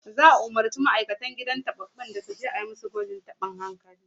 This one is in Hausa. Za'a umurci dukkan ma'aikatan gidan tababbun su je a yi musu gwajin tabin hankali